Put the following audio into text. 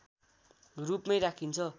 रूपमै राखिन्छ